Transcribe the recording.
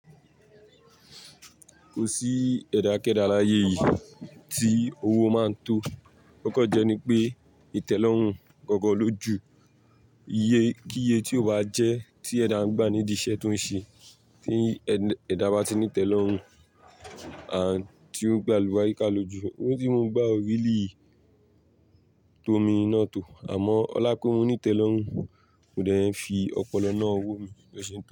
Kò sí ẹ̀dá kẹ́dà láyé yìí tí owó máa tó. Okan jẹ́ ní pé ìtẹ́lọ́rùn gọ̀gọ́ lójú. Iye kíiye tí ó bá jẹ́ tí ẹ̀dá ń gbà ní iṣẹ́ tó ń ṣe, tí ẹ̀dá bá ti nítẹ́lọ́rùn, àti ó ń gbalù bá yíká lójú. Owo ti mo n gbá orí lè tómi iná tó. Àmọ́, Ọlákurú nítẹ́lọ́rùn, mò dẹ̀ ń fi ọpọlọ náà wómi lọ́sẹ̀ náà.